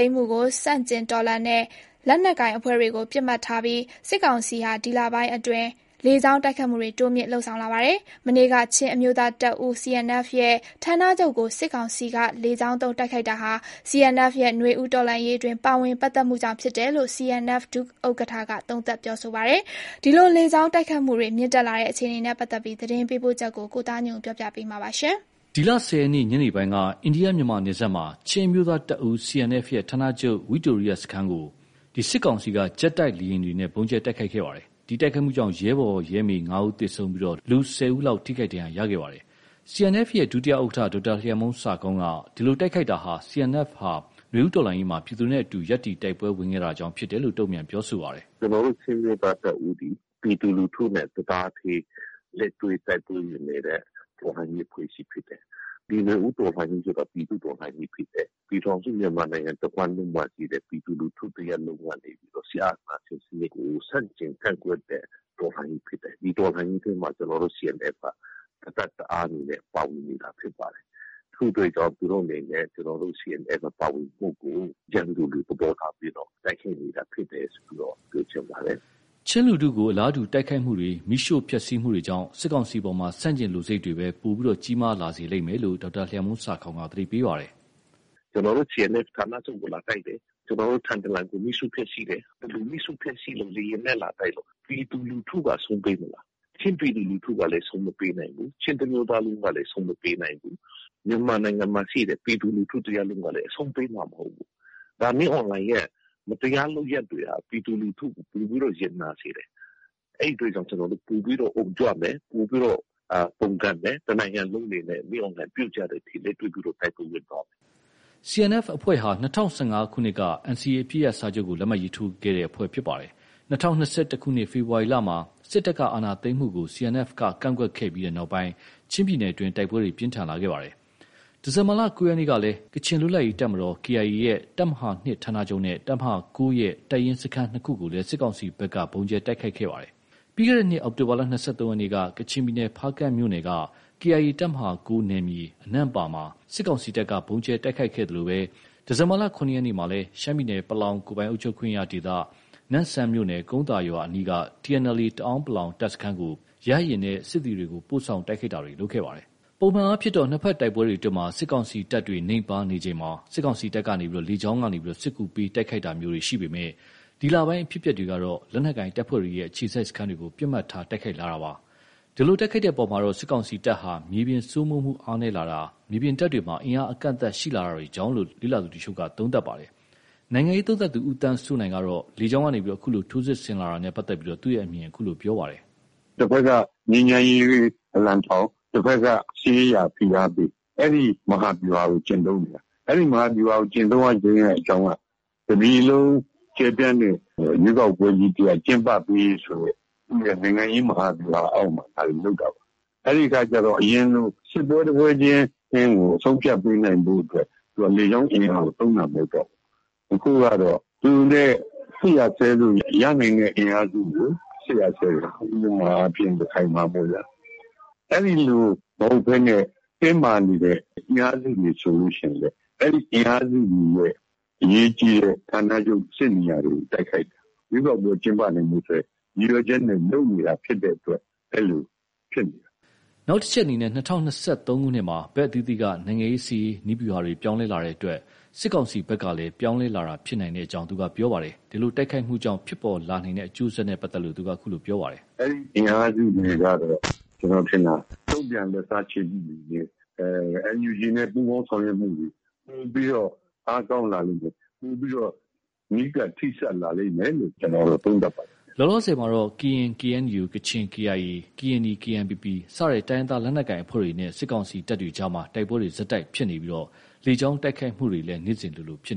ိမ်းမှုကိုဆန့်ကျင်တော်လှန်တဲ့ လက်နက်ကိုင်အဖွဲ့တွေကို ပစ်မှတ်ထားပြီး၊ စစ်ကောင်စီဟာ ဒီလပိုင်းအတွင်း လေကြောင်းတိုက်ခိုက်မှုတွေ တိုးမြှင့်လုပ်ဆောင်လာပါတယ်။ မနေ့က ချင်းအမျိုးသားတပ်ဦး CNF ရဲ့ ဌာနချုပ်ကို စစ်ကောင်စီက လေကြောင်းသုံးတိုက်ခိုက်တာဟာ၊ CNF ရဲ့ နွေဦးတော်လှန်ရေးတွင်း ပါဝင်ပတ်သက်မှုကြောင့်ဖြစ်တယ်လို့ CNF ဒုဥက္ကဌက သုံးသပ်ပြောဆိုပါတယ်။ ဒီလိုလေကြောင်းတိုက်ခိုက်မှုတွေမြင့်တက်လာတဲ့အခြေအနေနဲ့ပတ်သက်လို့ သတင်းပေးပို့ချက်ကို ကိုသားညွန့်ဦး ပြောပြမှာပါ။ ဒီလ ၁၀ရက်နေ့ ညနေပိုင်းက အိန္ဒိယ-မြန်မာနယ်စပ်မှာ ချင်းအမျိုးသားတပ်ဦး CNF ရဲ့ ဌာနချုပ် ဝိတိုရိယစခန်းကို စစ်ကောင်စီက ဂျက်တိုက်လေယာဉ်တွေနဲ့ ဗုံးကြဲတိုက်ခိုက်ခဲ့တာပါ။ ဒီတိုက်ခိုက်မှုကြောင့် ရဲဘော်၊ရဲမေ ၅ဦးသေဆုံးပြီး လူ ၁၀ဦးလောက် ထိခိုက်ဒဏ်ရာရခဲ့ပါတယ်။ CNF ရဲ့ ဒုဥက္ကဌ ၂ ဒေါက်တာ လျံမှုန်းဆာခေါင်းက ဒီလို တိုက်ခိုက်တာဟာ CNF ဟာ နွေဦးတော်လှန်ရေးမှာ ပြည်သူနဲ့အတူ ရပ်တည်တိုက်ပွဲဝင်တာကြောင့် ဖြစ်တယ်လို့ တုန့်ပြန်ပြောဆိုပါတယ်။ “ကျနော်တု့ိ ချင်းအမျိုးသားတပ်ဦးသည် ပြည်သူလူထုနဲ့ တစ်သားတည်း လက်တွဲတိုက်ပွဲဝင်နေတဲ့ တော်လှန်ရေးအဖွဲ့အစည်းဖြစ်တယ်။ ဒီနွေဦးတော်လှန်ရေးဆိုတာ ပြည်သူ့ တော်လှန်ရေးဖြစ်တယ်။ ပြည်ထောင်စု မြန်မာနိုင်ငံတစ်ဝှမ်းလုံးမှာရှိတဲ့ ပြည်သူလူထုကနေပြီးတော့ စစ်အာဏာရှင်စနစ်ကို ဆန့်ကျင် ကန့်ကွက်တဲ့ တော်လှန်ရေးဖြစ်တယ်။ ဒီတော်လှန်ရေးထဲမှာ ကျနော်တို့ CNF က တစ်တပ်တစ်အားအနေနဲ့ ပါဝင်နေတာဖြစ်ပါတယ်။ ထို့အတွက်ကြောင့် သူတို့အနေနဲ့ ကျနော်တို့ CNF ပါဝင်မှုကို ရန်သူလို သဘောထားပြီး တိုက်ခိုက်နေတာဖြစ်တယ်ဆိုပြီးတော့ ပြောချင်ပါတယ်။” ချင်းလူထုကို အလားတူ တိုက်ခိုက်မှုတွေ မီးရှို့ဖျက်ဆီးမှုတွေကြောင့် စစ်ကောင်စီအပေါ် ဆန့်ကျင်လိုစိတ်တွေပဲ ပိုကြီးမားလာလိမ့်မယ်လို့လည်း ဒေါက်တာ လျံမှုန်းဆာခေါင်းက သတိပေးပါတယ်။ “ ကျနော်တို့ CNF ဌာနချုပ်ကို လာတိုက်တယ်။ ကျနော်တို့ ထန်တလန်ကို မီးရှို့ဖျက်ဆီးတယ်။ ဒီလို မီးရှို့ဖျက်ဆီးလို့ ၊ လေယာဉ်နဲ့ လာတိုက်လို့ ပြည်သူလူထုက အရှုံးပေးမလား။ ချင်းပြည်သူလူထုကလည်း အရှုံးမပေးနိုင်ဘူး။ ချင်းတစ်မျိုးသားလုံးကလည်း အရှုံးမပေးနိုင်ဘူး။ မြန်မာနိုင်ငံမှာရှိတဲ့ ပြည်သူလူထု တစ်ရပ်လုံးကလည်း အရှုံး ပေးမှာ မဟုတ်ဘူး။ ဒါ မင်းအောင်လှိုင်ရဲ့ မတရားလုပ်ရပ်တွေဟာ ပြည်သူလူထုကို ပိုပြီးတော့ ရင်နာစေတယ်။ အဲဒီအတွက်ကြောင့် ကျနော်တို့ ပိုပြီးတော့ အုံကြွမယ်။ ပိုပြီးတော့ ပုန်ကန်မယ်။ တစ်နိုင်ငံလုံးအနေနဲ့ မင်းအောင်လှိုင်ပြုတ်ကျတဲ့အထိ လက်တွဲပြီးတော့ တိုက်ပွဲဝင်သွားမယ်။ ” CNF အဖွဲ့ဟာ ၂၀၁၅ခုနှစ်က NCA အပစ်ရပ်စာချုပ်ကို လက်မှတ်ရေးထိုးထားတဲ့အဖွဲ့ဖြစ်ပါတယ်။ ၂၀၂၁ခုနှစ် ဖေဖော်ဝါရီလမှာ စစ်တပ်က အာဏာသိမ်းတာကို CNF က ကန့်ကွက်ခဲ့ပြီးနောက် ချင်းပြည်နယ်မှာ တိုက်ပွဲတွေ ပြင်းထန်လာခဲ့ပါတယ်။ ဒီဇင်ဘာလ ၉ရက်နေ့ကလည်း ကချင်လွတ်မြောက်ရေးတပ်မတော် KIA ရဲ့ တပ်မဟာ ၂ ဌာနချုပ်နဲ့ တပ်မဟာ ၉ ရဲ့ တပ်ရင်း စခန်း ၂ခု ကိုလည်း စစ်ကောင်စီဘက်က ဗုံးကြဲတိုက်ခိုက်ခဲ့ပါတယ်။ ပြီးခဲ့တဲ့နှစ် အောက်တိုဘာလ ၂၃ရက်က ကချင်ပြည်နယ် ဖားကန့်မြို့နယ်က KIA တပ်မဟာ၉ နယ်မြေ အနန့်ပါမှာ စစ်ကောင်စီတပ်က ဗုံးကြဲတိုက်ခိုက်ခဲ့သလို ဒီဇင်ဘာလ ၇ရက်နေ့မှာ ရှမ်းပြည်နယ် ပလောင်ကိုယ်ပိုင်အုပ်ချုပ်ခွင့်ရဒေသ၊ နမ့်ဆန်မြို့နယ် ကုန်းသာရွာအနီးက TNLA တအန်း(ပလောင်) တပ်စခန်းကို ရဟတ်ယာဉ်နဲ့ ပို့ဆောင် တိုက်ခိုက်တာတွေ ဖြစ်ခဲ့ပါတယ်။ ပုံမှန်အားဖြင့်တော့ နှစ်ဖက်တိုက်ပွဲအတွင်း စစ်ကောင်စီတပ်တွေနိမ့်ပါးချိန်မှာ စစ်ကောင်စီတပ်က လေကြောင်းက စစ်ကူပေး တိုက်ခိုက်တာရှိပေမဲ့၊ ဒီလပိုင်းမှာတော့ လက်နက်ကိုင်တပ်ဖွဲ့တွေရဲ့ အခြေစိုက်စခန်းတွေကို ပစ်မှတ်ထားတိုက်ခိုက်လာပါတယ်။ ဒီလို တိုက်ခိုက်တဲ့အပေါ်မှာတော့ စစ်ကောင်စီတပ်ဟာ မြေပြင်စိုးမိုးမှုအားနည်းလာတာ၊ မြေပြင်တပ်တွေမှာ အင်အားအကန့်အသတ်ရှိလာတာကြောင့်လို့ လေ့လာသူတွေက သုံးသပ်ပါတယ်။ နိုင်ငံရေးသုံးသပ်သူ ဦးသန်းစိုးနိုင်ကတော့ လေကြောင်းက အခုလို ထိုးစစ်ဆင်လာတာနဲ့ ပတ်သက်ပြီး သူ့အမြင်ကို အခုလို ပြောပါတယ်။ “တစ်ဖက်က ငြိမ်းချမ်းရေးအလံထောင်၊ တစ်ဖက်က စစ်ရေးအရ ဖိအားပေး။ အဲဒီ မဟာဗျူဟာကို ကျင့်သုံးနေတာ။ အဲဒီ မဟာဗျူဟာကို ကျင့်သုံးရခြင်းရဲ့ အကြောင်းက တစ်ပြည်လုံး ကျယ်ပြန့်တဲ့ ရွေးကောက်ပွဲ ကြီး ကျင်းပပေးရေးဆိုတဲ့ သူ့ရဲ့ နိုင်ငံရေး မဟာဗျူဟာအောင်မှာ ဒါတွေ လုပ်တာပေါ့။ အဲဒီအခါကျ အရင်လို စစ်ပွဲ တစ်ပွဲချင်း အဆုံးအဖြတ်ပေးနိုင်ဖို့အတွက် လေကြောင်းအင်အားကို သုံးတာမဟုတ်တော့ဘူး။ အခုကတော့ သူနဲ့ စစ်ရပ်စဲလို့ ရနိုင်တဲ့အင်အားစုကို စစ်ရပ်စဲမယ်။ ဥပမာအားဖြင့် ရခိုင်မှာပေါ့ဗျာ။ အဲဒီလို မဟုတ်ဘဲနဲ့ တင်းမာနေတဲ့ အင်အားစုတွေ ဆိုလို့ ရှိရင် အဲဒီ အင်အားစုတွေရဲ့ အရေးကြီးတဲ့ ဌာနချုပ် စစ်နေရာတွေကို တိုက်ခိုက်တာ။ ရွေးကောက်ပွဲကျင်းပနိုင်ဖို့အတွက် ရည်ရွယ်ချက်နဲ့ လုပ်နေတာဖြစ်တဲ့အတွက် အဲလို ဖြစ်နေတာ။ ” နောက်တစ်ချက်အနေနဲ့ ၂၀၂၃မှာ ဘက်အသီးသီးက နိုင်ငံရေး၊စစ်ရေးနည်းဗျူဟာတွေ ပြောင်းလဲလာတဲ့ အတွက် စစ်ကောင်စီဘက်ကလည်း ပြောင်းလဲလာတာ ဖြစ်နိုင်ကြောင်း ဆက်ပြောပါတယ်။ ဒီလို တိုက်ခိုက်မှုကြောင့် ဖြစ်ပေါ်လာနိုင်တဲ့အကျိုးဆက်နဲ့ ပတ်သက်လို့ ---- “ အဲဒီအင်အားစုတွေကတော့ ကျနော်ထင်တာ တုံပြန်လက်စားချေမှုတွေနဲ့ NUG နဲ့ ပူးပေါင်းဆောင်ရွက်မှုတွေ ပိုပြီးတော့ အားကောင်းလာလိမ့်မယ်။ ပိုပြီးတော့ နီးကပ် ထိစပ်လာလိမ့်မယ်လို့ ကျနော်ကတော့ သုံးသပ်ပါတယ်။ ” လောလောဆည်မှာတော့ ကရင် KNU၊ ကချင် KIA ၊ ကရင်နီ KNPP စတဲ့ တိုင်းရင်းသား လက်နက်ကိုင်အဖွဲ့တွေနဲ့ စစ်ကောင်စီတပ်အကြားမှာ တိုက်ပွဲတွေ ဆက်တိုက်ဖြစ်ပွားနေပြီး လေကြောင်းတိုက်ခိုက်တာတွေလည်း နေ့စဉ်လိုဖြစ်